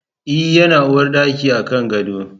E, yana uwarɗaki a kan gado.